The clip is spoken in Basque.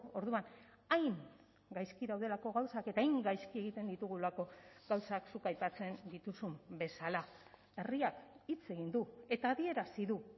orduan hain gaizki daudelako gauzak eta hain gaizki egiten ditugulako gauzak zuk aipatzen dituzun bezala herriak hitz egin du eta adierazi du